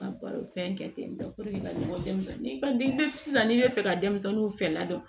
Baro fɛn kɛ ten tɔ ka ɲɔgɔn dɔn sisan n'i bɛ fɛ ka denmisɛnninw fɛ ladon